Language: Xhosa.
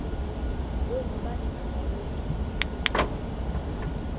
ngoku bathi makaycke